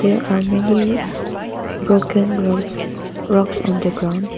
there are many broken roads rocks on the ground.